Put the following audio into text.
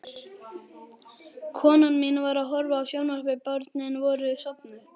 Hrund: Og hvað voruð þið að gera í dag?